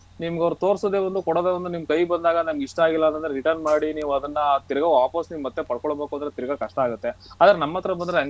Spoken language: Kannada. ನಿಮ್ಗ್ ಅವ್ರು ತೋರ್ಸೋದೆ ಒಂದು ಕೋಡೊದೆ ಒಂದು ನಿಮ್ಮ ಕೈಗ್ ಬಂದಾಗ ನಂಗ್ ಇಷ್ಟ ಆಗಲಿಲ್ಲ ಅಂದಾಗ return ಮಾಡಿ ನೀವ್ ಅದನ್ನ ತಿರಗಾ ವಾಪಸ್ ನೀವ್ ಮತ್ತೆ ಪಡ್ಕೋಬೇಕು ಅಂದ್ರೆ ತಿರಗಾ ಕಷ್ಟ ಆಗುತ್ತೆ ಆದ್ರೆ ನಮ್ಮತ್ರ ಬಂದರೆ ಹಂಗಲ್ಲ ನೀವ್.